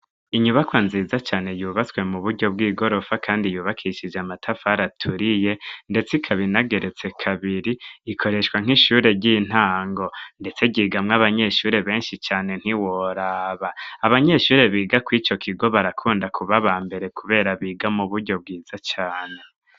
Inyubakwa nziza cane yubatswe mu buryo bw'igorofa kandi yubakishije amatafar aturiye ndetse ikabinageretse kabiri ikoreshwa nk'ishure ry'intango ndetse ryigamwo abanyeshure benshi cane ntiworaba abanyeshure biga ku ico kigo barakunda kubaba mbere kubera biga muburyo bwiza cane.